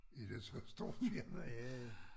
Er det så stort firma ja ja